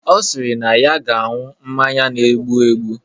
Ọ sịrị na ya ga-anwụ mmanya na-egbu egbu